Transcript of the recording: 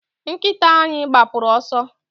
nkita anyi gbapụru ọsọ